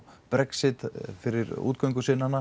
Brexit fyrir